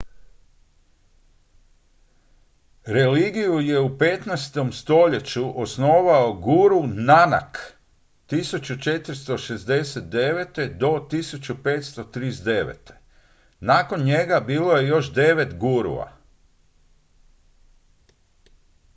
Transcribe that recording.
religiju je u 15. stoljeću osnovao guru nanak 1469. – 1539.. nakon njega bilo je još devet gurua